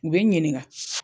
U bɛ n ɲininka.